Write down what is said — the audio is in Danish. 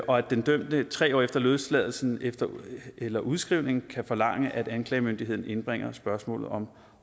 og at den dømte tre år efter løsladelse eller udskrivning kan forlange at anklagemyndigheden indbringer spørgsmålet om